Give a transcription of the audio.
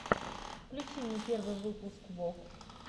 включи мне первый выпуск вог